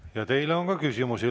Ja teile on ka küsimusi.